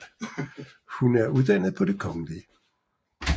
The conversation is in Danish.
Hun er uddannet på Det Kgl